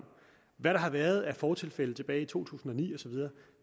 hvad der har været af fortilfælde tilbage i to tusind og ni